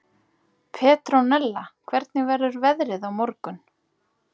Petronella, hvernig verður veðrið á morgun?